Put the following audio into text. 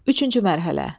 Üçüncü mərhələ.